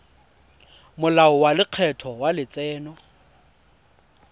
molao wa lekgetho wa letseno